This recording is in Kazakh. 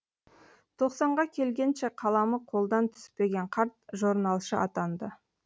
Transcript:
тоқсанға келгенше қаламы қолдан түспеген қарт жорналшы атанды